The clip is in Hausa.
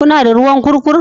Kuna da ruwan kurkur?